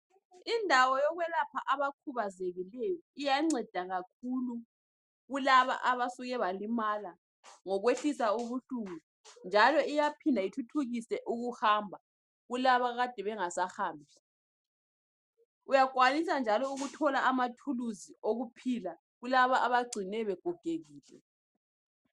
Indawo yokwelapha abakhubazekileyo iyanceda kakhulu kulaba abasuke balimala ngokwehlisa ubuhlungu njalo iyaphinda ithuthukise kulaba ade bengasahambi. Uyakwanisa njalo ukuthi uthole anaphilisi okuphila kulaba abagcinwe begogekile.